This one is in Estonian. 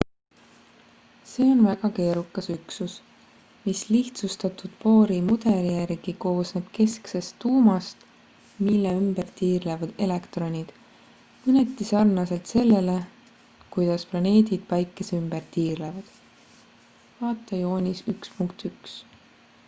see on väga keerukas üksus mis lihtsustatud bohri mudeli järgi koosneb kesksest tuumast mille ümber tiirlevad elektronid mõneti sarnaselt sellele kuidas planeedid päikese ümber tiirlevad vt joonis 1.1